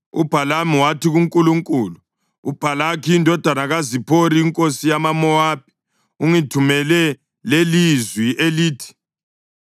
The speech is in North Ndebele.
UBhalamu wathi kuNkulunkulu, “UBhalaki indodana kaZiphori inkosi yamaMowabi ungithumele lelizwi elithi: